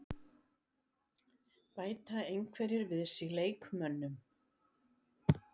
Bæta einhverjir við sig leikmönnum?